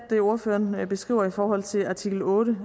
det ordføreren beskriver i forhold til artikel otte